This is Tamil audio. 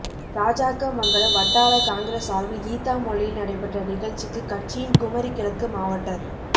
ராஜாக்கமங்கலம் வட்டார காங்கிரஸ் சாா்பில் ஈத்தாமொழியில் நடைபெற்ற நிகழ்ச்சிக்கு கட்சியின் குமரி கிழக்கு மாவட்டத்